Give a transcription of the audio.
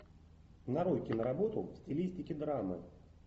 нарой киноработу в стилистике драмы